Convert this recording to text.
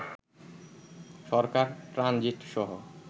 সরকার transit সহ